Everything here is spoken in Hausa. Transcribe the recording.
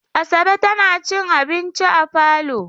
Asabe tana cin abinci a falo.